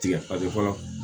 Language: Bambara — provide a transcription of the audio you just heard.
Tigɛ ka di fɔlɔ